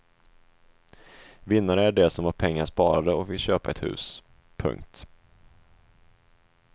Vinnare är de som har pengar sparade och vill köpa ett hus. punkt